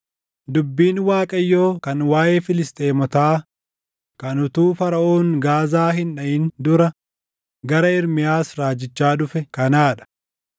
Dubbiin Waaqayyoo kan waaʼee Filisxeemotaa kan utuu Faraʼoon Gaazaa hin dhaʼin dura gara Ermiyaas raajichaa dhufe kanaa dha: